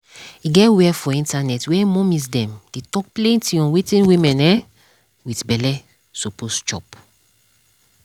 e get where for internet where mommies dem dey talk plenty on wetin woman um wit belle suppose chop